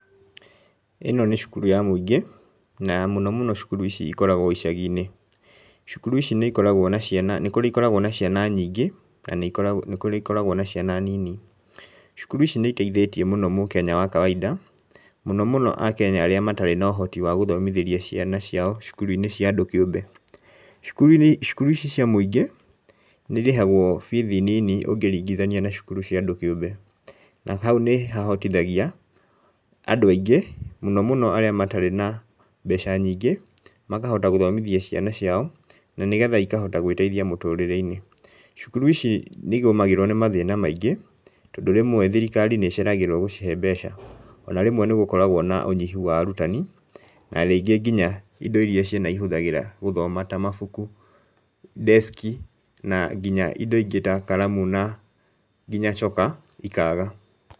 ĩno nĩ cukuru ya mũingĩ na mũno mũno cukuru ici ikoragwo icagi-inĩ, cukuku ici nĩ ikoragwo na ciana nĩ kũrĩ ikoragwo na ciana nyingĩ, na nĩ kũrĩ ikoragwo na ciana nini. Cukuru ici nĩ iteithĩtie mũno mũkenya wa kawaida, mũno mũno Akenya arĩa matarĩ na ũhoti wa gũthomithĩria ciana ciao cukuru-inĩ cia andũ kĩũmbe. Cukuru-inĩ cukuru ici cia mũingĩ, nĩ irĩhagwo bithi nini ũngĩringithania na cukuru cia andũ kĩũmbe na hau nĩ hahotithagia andũ aingĩ, mũno mũno arĩa matarĩ na mbeca nyingĩ, makahota gũthomithia ciana ciao, ma nĩgetha ikahota gwĩteithia mũtũrĩre-inĩ. Cukuru ici nĩ igũmagĩrwo nĩ mathĩna maingĩ, tondũ rĩmwe thirikari nĩ ĩceragĩrwo gũcihe mbeca, ona rĩmwe nĩ gũkoragwo na ũnyihu wa arutani narĩngĩ nginya indo iria ciana ihũthagĩra gũthoma ta mabuku, desk, na nginya indo ingĩ ta karamu na nginya coka ikaga.